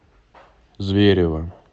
зверево